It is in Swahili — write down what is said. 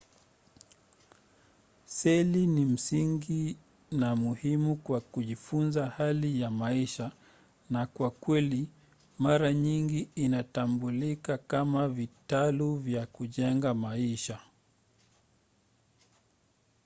seli ni msingi na muhimu kwa kujifunza hali ya maisha na kwa kweli mara nyingi inatambulika kama vitalu vya kujenga maisha